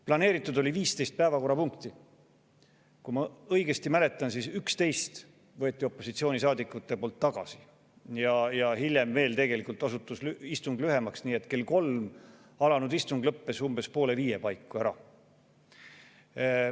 Planeeritud oli 15 päevakorrapunkti, aga kui ma õigesti mäletan, siis 11 neist võtsid opositsioonisaadikud tagasi ja hiljem osutus istung lühemaks, nii et kell kolm alanud istung lõppes umbes poole viie paiku ära.